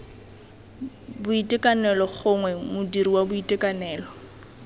boitekanelo gongwe modiri wa boitekanelo